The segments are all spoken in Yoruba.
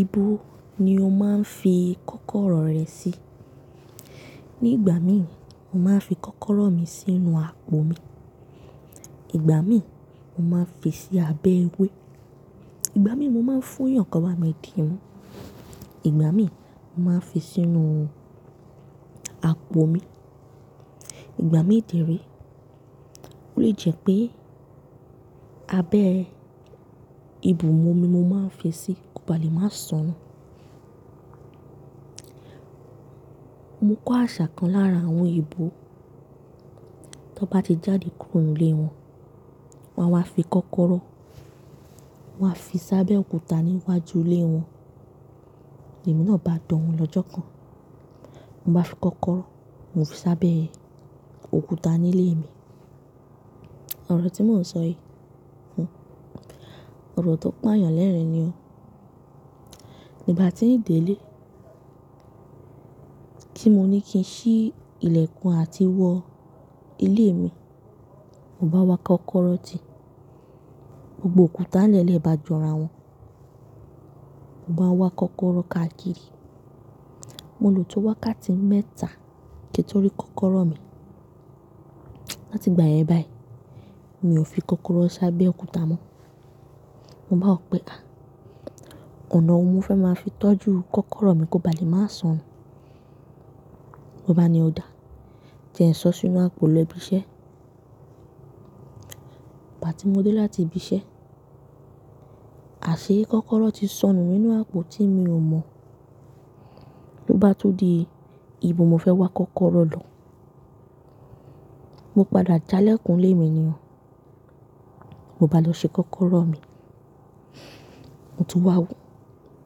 Ibo ni o máa ń fi kọ́kọ́rọ́ rẹ sí? Ibo ni o máa ń fi kọ́kọ́rọ́ rẹ sí? Ìgbà mí, mo máa ń fi sí abẹ́ ewé. Ìgbà mí, mo máa ń fún yàn kí wọ́n bá mi dìímú, ìgbà míì fi sínú àpò mi. Ìgbà mí dẹ̀ ré ó lè jẹ́ pé abẹ́ ìbùmumi ni mo máa n fi sí kí ó baà lè má sọnù. Mo kọ́ àsà kan lára àwón èèbó, tí wọ́n bá ti jáde kúrò nínú ilé wọn, wọ́n á wá fi kọ́kọ́rọ́ sábẹ́ òkúta níwájú ilé wọn. Èmi náà bá danwò lọ́jọ́ kan ni mo bá fi kọ́kọ́rọ́ mo fi sábẹ́ òkúta nílé mi. Ọ̀rọ̀ tí mò n sọ yí, ọ̀rọ̀ tí ó pa yàn lẹ́rin ni o. Ìgbà tí n délé tí mo ní kí n ṣí ìlẹ̀kùn àti wọ ilé mi, mo bá wá kọ́kọ́rọ́ tì. Gbogbo òkúta nlẹ̀ẹ́lẹ̀ bá jọra wọn. Mo bá wá kọ́kọ́rọ́ káàkiri. Mo lò tó wákàtí mẹ́ta kí n tó rí kọ́kọ́rọ́ mi Láti ìgbà yèn bâyìí mi ò fi kọ́kọ́rọ́ sábẹ́ òkúta mọ́. Mo bá wò wípé ọ̀nà wo ni mo fẹ́ ma fi tọ́jú kọ́kọ́rọ́ mi kó baà lè má sọnù. Mo bá ní ó da jẹ́ n sóọ́ sínú àpò lọ ibi isẹ́. Ìgbà tí mo dé láti ibi isẹ́, àsé kọ́kọ́rọ́ ti sọnù nínú àpò tí minò mọ̀. Ló bá tún di ibo mo fẹ́ wá kọ́kọ́rọ́ lọ. Mo padà já lẹ̀kùn ilé mi ni ò. Mo bá lọ ṣe kọ́kọ́rọ́ mi Mo tún wá wòó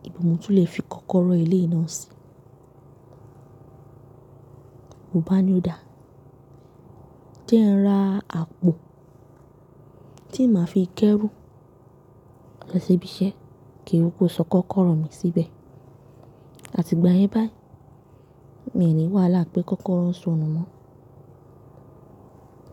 ibo mo tún lè fi kọ́kọ́rọ́ eléyìí náà sí Mo bá ní ó da jẹ́ n ra àpò tí n ma fi kẹ́rù lọ síbi isẹ́ ki n kúkú sọ kọ́kọ́rọ́ mi síbẹ̀ àti ìgbà yẹn báyìí mi ì ní wàhálà pé kọ́kọ́rọ́ sọnù mọ́.